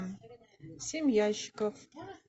семь ящиков